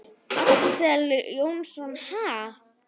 Axel Jónsson: Ha?